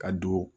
Ka don